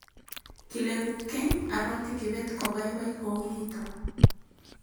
kileku keny aroti kibet ko baibai kou nito